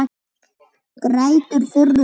Grætur þurrum tárum.